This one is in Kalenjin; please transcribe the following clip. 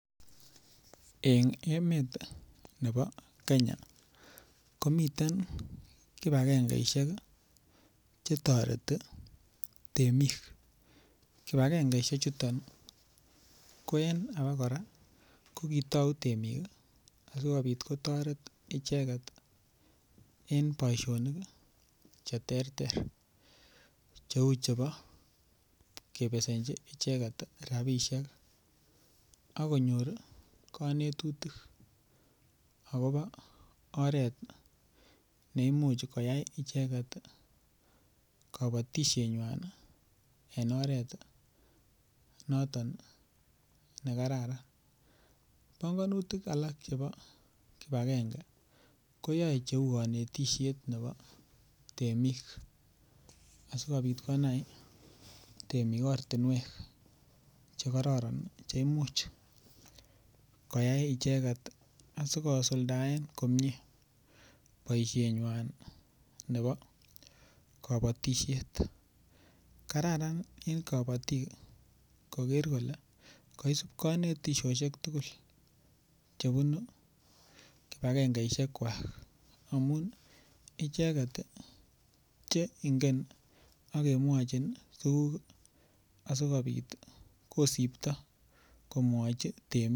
Eng' emet nebo Kenya komiten kipagengeishek chetoreti temik kipagengeishek chuton ko en age kora kokitou temik asikobit kotoret icheget en boishonik cheterter cheu chebo kebesenchi icheget rabishek akonyor kanetutik akobo oret neimuch koyai icheget kabatishenywai en oret noton nekararan bongonutik alak chebo kipagenge koyoei cheu kanetishet nebo temik asikobit konai temik ortinwek chekororon cheimuch koyai icheget asikosuldaen komye boishenywai nebo kabotishet kararan en kobotik koker kole kaisup kanetishoshek tugul chebunu kipagengeishek kwach amun icheget cheingen akemwochin tukuk asikobit kosipto komwochi temik